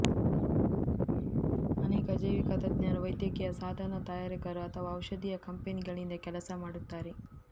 ಅನೇಕ ಜೈವಿಕ ತಜ್ಞರು ವೈದ್ಯಕೀಯ ಸಾಧನ ತಯಾರಕರು ಅಥವಾ ಔಷಧೀಯ ಕಂಪನಿಗಳಿಂದ ಕೆಲಸ ಮಾಡುತ್ತಾರೆ